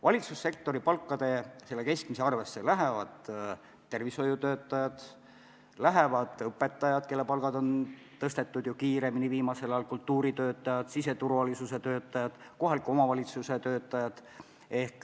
Valitsussektori keskmise palga arvestusse lähevad tervishoiutöötajad, lähevad õpetajad, kelle palka on viimasel ajal ju kiiremini tõstetud, lähevad kultuuritöötajad, siseturvalisuse töötajad, kohaliku omavalitsuse töötajad.